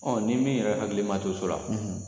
Ɔ ni min yɛrɛ hakili ma to so la